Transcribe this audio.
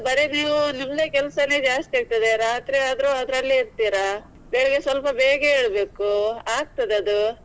ಬರೆ ನೀವು ನಿಮ್ದೇ ಕೆಲ್ಸನೇ ಜಾಸ್ತಿ ಆಗ್ತದೆ ರಾತ್ರಿ ಆದ್ರೂ ಅದ್ರಲ್ಲೇ ಇರ್ತೀರಾ. ಬೆಳಗ್ಗೆ ಸ್ವಲ್ಪ ಬೇಗ ಏಳ್ಬೇಕು ಆಗ್ತದೆ ಅದು.